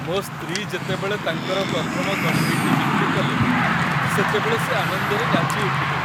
ମୋ ସ୍ତ୍ରୀ ଯେତେବେଳେ ତାଙ୍କର ପ୍ରଥମ କଣ୍ଢେଇଟି ବିକ୍ରି କଲେ, ସେତେବେଳେ ସେ ଆନନ୍ଦରେ ନାଚି ଉଠିଲେ।